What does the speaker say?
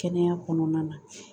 Kɛnɛya kɔnɔna na